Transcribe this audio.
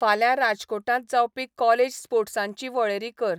फाल्यां राजकोटांत जावपी कॉलेज स्पोर्ट्सांची वळेरी कर